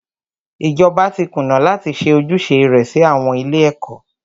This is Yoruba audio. Ìjọba tí kùnà láti ṣe ojúṣe rẹ sí àwọn ilé ẹ̀kọ́.